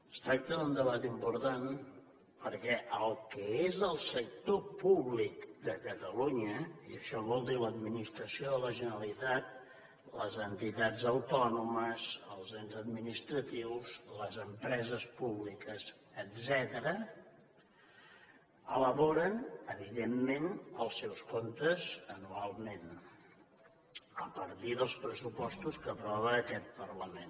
es tracta d’un debat important perquè el que és el sector públic de catalunya i això vol dir l’administració de la generalitat les entitats autònomes els ens administratius les empreses públiques etcètera elaboren evidentment els seus comptes anualment a partir dels pressupostos que aprova aquest parlament